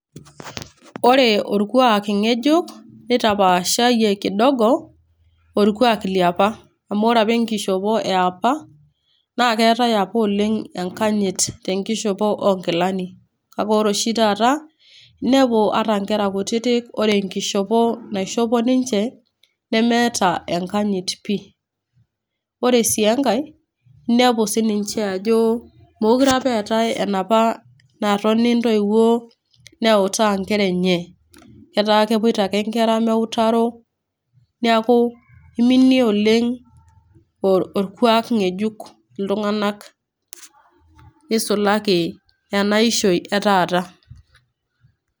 Ore orkuak ng'ejuk, neitapaashayie kidogo orkuak le opa . Amu ore opa enkishopo e opa naa keatai opa enkanyit tenkishopo oo nkilani. Kale ore oshi taata, inepu ata inkera kutiti ninepu ore enkishopo naishopo ninche, neata enkanyit pii, ore sii enkai inepu sininche ajo mekuree eatai opa ajo enatoni intoiwo neutaa inkera enye, etaa kepuoita ake inkera meutaro neaku eiminie oleng' orkwaak ng'ejuk iltung'ana neisulaki ena ishoi e taata.